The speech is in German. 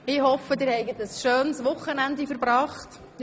Ich hoffe, dass Sie ein schönes Wochenende verbracht haben.